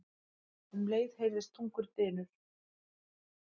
Um leið heyrðist þungur dynur.